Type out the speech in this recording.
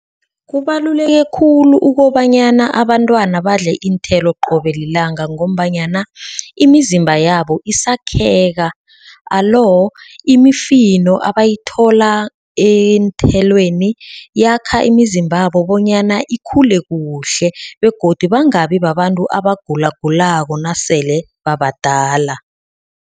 Kubaluleke khulu ukobanyana abantwana badle iinthelo qobe lilanga. Ngombanyana imizimba yabo isakheka. Alo imifino abayithola eenthelweni yakha imizimbabo bonyana ikhule kuhle begodu bangabi babantu abagulagulako nasele babadala.